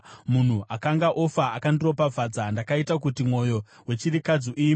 Munhu akanga ofa akandiropafadza; ndakaita kuti mwoyo wechirikadzi uimbe.